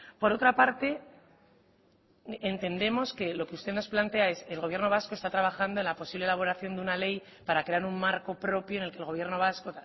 por otra parte entendemos que lo que usted nos plantea es el gobierno vasco está trabajando en la posible elaboración de una ley para crear un marco propio en el que el gobierno vasco